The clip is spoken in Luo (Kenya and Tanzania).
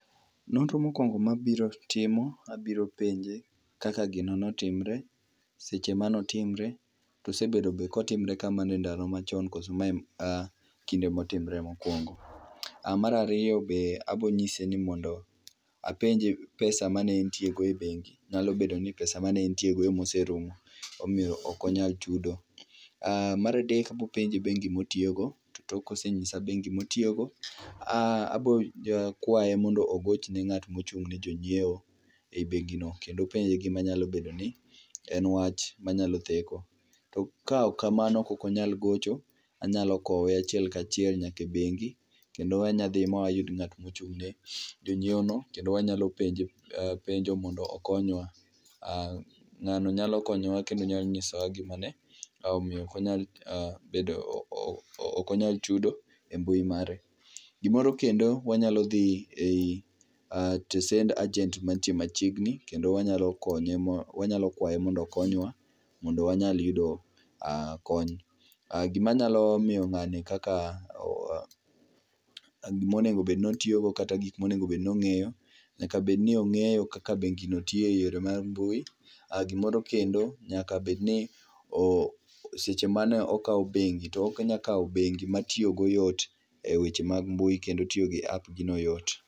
Nonro mokuongo mabiro timo ,abiro penje kaka gino notimre, seche mane otimre to osebedo be kotimre kamano e ndalo machon koso mae ekinde motimre mokuongo. Mar ariyo be abo nyiseni mondo ,apenje pesa mane entie go e bengi, nyalo bedo ni pesa mane entie go ema oserumo, omiyo ok onyal chudo. Mar adek abro penje bengi motiyo go, tok kosenyisa bengi motiyo go, abo kwaye mondo ogochne ng'atma ochung ne jonyiewo e bengi no kendo openje gima nyalo bedo ni en wach manya bedo ni theko. To kaok kamano ka ok onyal gocho, anya kowe achiel kachiel nyaka e bengi kendo anya dhi ma wayud ng'atma ochung' ne jonyiewo no kendo wanyalo penje penjo mondo okonywa, ngano nyalo konyowa kendo nya nyiso wa gimane omiyo ok onyal ,bedo, ooh, ok onyal chudo e mbui mare. Gimoro kendo, wanyalo dhi e tesend agent mantie machiegni kendo wanyalo konye ma, wanyalo kwaye mondo okonywa mondo wanyal yudo kony. Gima anya miyo ng'ani kaka gima onego obed ni otiyo go kata gikma onego obed ni ong'eyo, nyaka obeni ongeyo kaka bengino tiyo e yore mag mbui, gimoro kendo ,nyaka bedni o,seche mane okao bengi to onya kao bengi ma tiyo go yot e weche mag mbui kendo tiyo gi app gi no yot